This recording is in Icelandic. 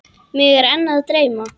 Mig er enn að dreyma.